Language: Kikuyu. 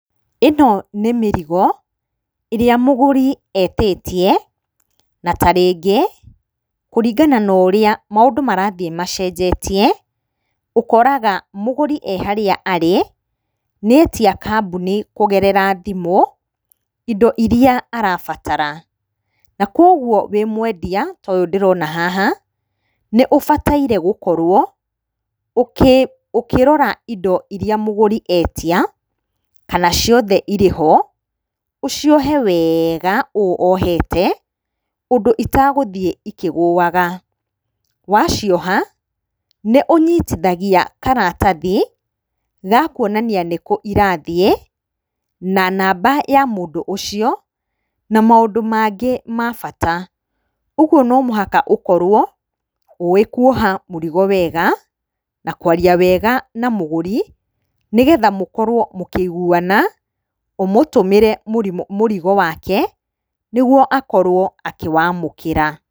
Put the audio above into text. Ĩno nĩ mĩrigo ĩrĩa mũgũri etĩtie na tarĩngĩ kũringana na ũrĩa maũndũ marathiĩ macenjetie ũkoraga mũgũri e harĩa arĩ nĩetia kamboni kũgerera thimũ indo iria arabatara. Na koguo wĩ mwendia ta ũyũ ndĩrona haha nĩũbataire gũkorwo ũkĩrora indo iria mũgũri etia kana ciothe ciĩho, ũciohe wega ũũ ohete ũndũ itagũthiĩ ikĩgũaga. Wacioha nĩũnyitithagia karatathi ga kuonania nĩkũ irathiĩ na namba ya mũndũ ũcio na maũndũ mangĩ ma bata. Ũguo no mũhaka ũkorwo ũĩ kuoha mũrigo wega na kwarĩa wega na mũgũri nĩguo mũkorwo mũkĩiguana ũmũtũmĩre mũrigo wake nĩguo akorwo akĩwamũkĩra.